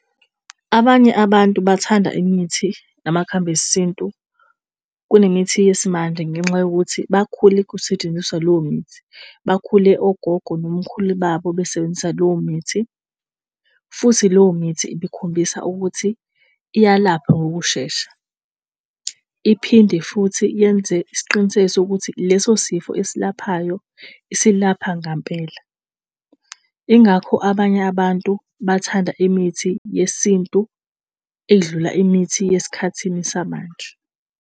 Abanye abantu bathanda imithi namakhambi esintu kunemithi yesimanje ngenxa yokuthi bakhule kusetshenziswa leyo mithi bakhule, ogogo nomkhulu babo besebenzisa leyo mithi futhi leyo mithi isikhombisa ukuthi iyalapha ngokushesha. Iphinde futhi yenze isiqiniseko sokuthi leso sifo esilaphayo, isilapha ngampela. Ingakho abanye abantu bathanda imithi yesintu edlula imithi yesikhathini samanje.